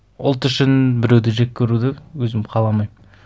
ұлт үшін біреуді жек көруді өзім қаламаймын